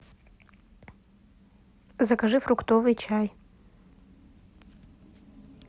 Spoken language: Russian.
закажи фруктовый чай